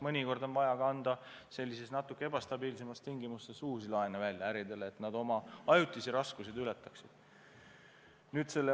Mõnikord on vaja äridele ka natuke ebastabiilsemates tingimustes uusi laene anda, et nad saaksid ajutised raskused ületada.